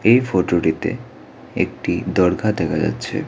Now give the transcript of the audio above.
এই ফটোটিতে একটি দরগা দেখা যাচ্ছে।